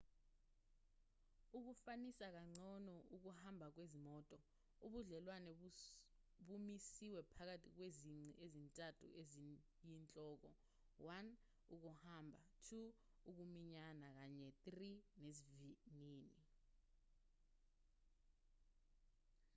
ukufanisa kangcono ukuhamba kwezimoto ubudlelwane bumisiwe phakathi kwezici ezintathu eziyinhloko: 1 ukuhamba 2 ukuminyana kanye 3 nesivinini